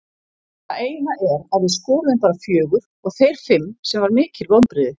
Það eina er að við skoruðum bara fjögur og þeir fimm sem var mikil vonbrigði.